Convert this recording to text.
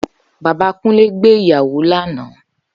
Baba Kunle gbé ìyàwó lánàá